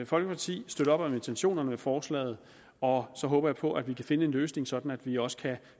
folkeparti støtter op om intentionerne med forslaget og så håber jeg på at vi kan finde en løsning sådan at vi også kan